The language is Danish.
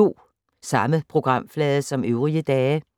Samme programflade som øvrige dage